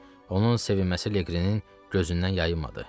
Onun sevinməsi Liqrinin gözündən yayınmadı.